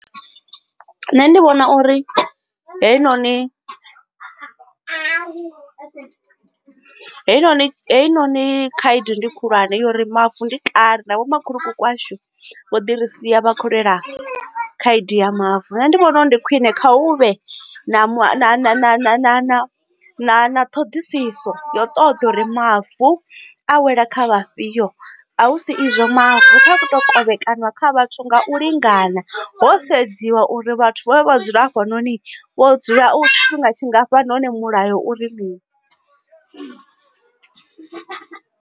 Nṋe ndi vhona uri heinoni heinoni heinoni khaedu ndi khulwane uri mavu ndi kale na vho makhulukuku washu vho ḓi ri sia vha kho lwela khaedu ya mavu nṋe ndi vhona uri ndi khwine kha u vhe na na ṱhoḓisiso ya u ṱoḓa uri mavu a wela kha vhafhiyo a hu si izwo mavu kha to kovhekanyiwa kha vhathu nga u lingana ho sedziwa uri vhathu vha ne vha dzula hafha noni vho dzula tshifhinga tshingafhani hone mulayo uri mini.